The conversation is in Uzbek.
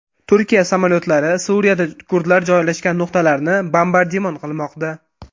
Turkiya samolyotlari Suriyada kurdlar joylashgan nuqtalarni bombardimon qilmoqda.